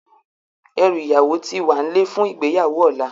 Èrú iyáwó ti wánlè fún igbéyáwó òlá